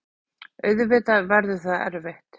Auðvitað verður það erfitt.